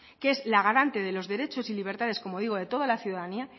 que es la garante de los derechos y libertades como digo de toda la ciudadanía